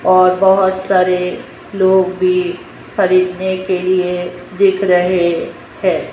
और बहोत सारे लोग भी खरीदने के लिए दिख रहे हैं।